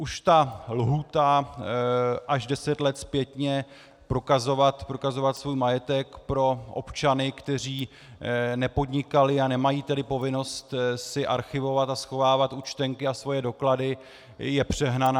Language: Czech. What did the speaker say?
Už ta lhůta až deset let zpětně prokazovat svůj majetek pro občany, kteří nepodnikali, a nemají tedy povinnost si archivovat a schovávat účtenky a svoje doklady, je přehnaná.